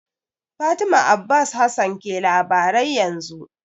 Fatima Abbas Hassan ke labarai yanzu.